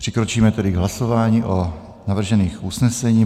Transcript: Přikročíme tedy k hlasování o navržených usnesení.